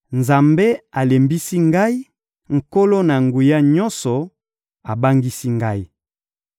Nzambe alembisi ngai, Nkolo-Na-Nguya-Nyonso abangisi ngai.